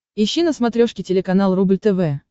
ищи на смотрешке телеканал рубль тв